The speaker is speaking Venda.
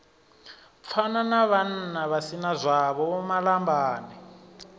pfana navhannavha si nazwavho vhomalambane